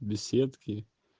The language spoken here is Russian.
беседки